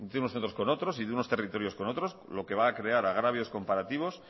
unos centros con otros y de unos territorios con otros lo que va a crear agravios comparativos